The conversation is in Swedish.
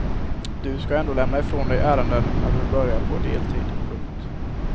Du ska ändå lämna ifrån dig ärenden när du börjar på deltid. punkt